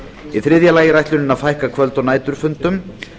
í þriðja lagi er ætlunin að fækka kvöld og næturfundum